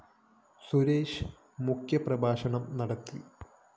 സുരേഷ് മുഖ്യ പ്രഭാഷണം നടത്തി